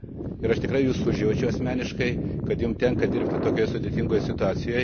Ir aš tikrai Jus užjaučiu asmeniškai, kad Jums tenka dirbti tokioje sudėtingoje situacijoje.